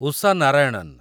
Usha Narayanan